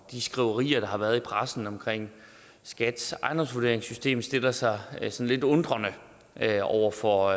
de skriverier der har været i pressen om skats ejendomsvurderingssystem stiller sig sig lidt undrende over for